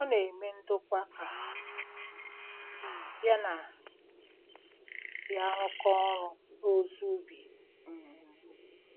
Ọ na-eme ndokwa ka um ya na ya rụkọọ ọrụ n’ozi ubi. um